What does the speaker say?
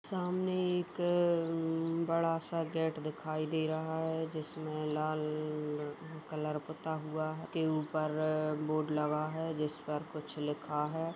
सामने एक उम बड़ा सा गेट दिखाई दे रहा है जिसमें लाल अअ कलर पुता हुआ के ऊपर अ बोर्ड लगा है जिस पर कुछ लिखा है।